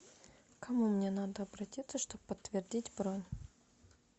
к кому мне надо обратиться чтобы подтвердить бронь